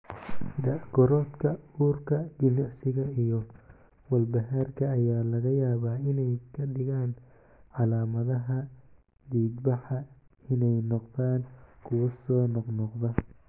Da' korodhka, uurka, jimicsiga, iyo walbahaarka ayaa laga yaabaa inay ka dhigaan calaamadaha dhiigbaxa inay noqdaan kuwo soo noqnoqda.